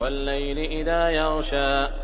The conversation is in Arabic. وَاللَّيْلِ إِذَا يَغْشَىٰ